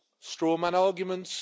Strongman arguments.